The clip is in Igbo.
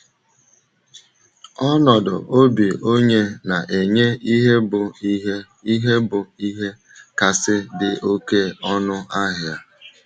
Ọnọdụ obi onye na - enye ihe bụ ihe ihe bụ ihe kasị dị oké ọnụ ahịa.